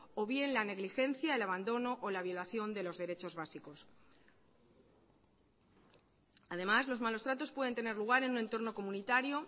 o bien la negligencia el abandono o la violación de los derechos básicos además los malos tratos pueden tener lugar en un entorno comunitario